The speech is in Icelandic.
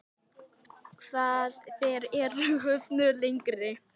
Þér eruð höfðinu lengri.